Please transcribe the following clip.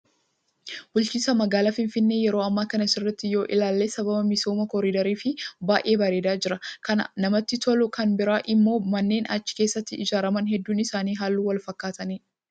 Bulchiinsa magaalaa Finfinnee yeroo ammaa kana sirriitti yoo ilaalle sababa misooma koriidariif baay'ee bareedaa jira. Kan namatti tolu kan biraan immoo manneen achi keessatti ijaaraman hedduun isaanii halluu wal fakkaatuuni.